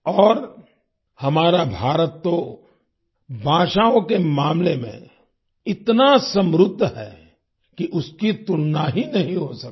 और हमारा भारत तो भाषाओं के मामले में इतना समृद्ध है कि उसकी तुलना ही नहीं हो सकती